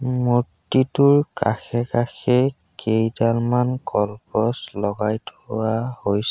মূৰ্ত্তিটোৰ কাষে-কাষে কেইডালমান কলগছ লগাই থোৱা হৈছ--